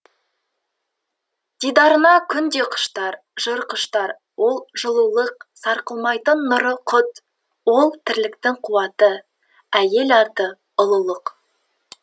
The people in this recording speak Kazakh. дидарына күн де құштар жыр құштар ол жылулық сарқылмайтын нұры құт ол тірліктің қуаты әйел аты ұлылық